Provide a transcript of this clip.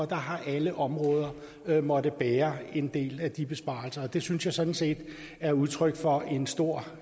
der har alle områder måttet bære en del af de besparelser og det synes jeg sådan set er udtryk for en stor